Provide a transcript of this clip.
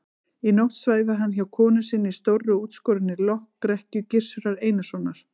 Í nótt svæfi hann hjá konu sinni í stórri og útskorinni lokrekkju Gizurar Einarssonar.